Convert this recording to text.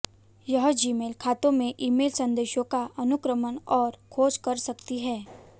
यह जीमेल खातों में ईमेल संदेशों का अनुक्रमण और खोज कर सकती है